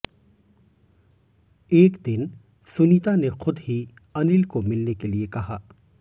एक दिन सुनीता ने खुद ही अनिल को मिलने के लिए कहा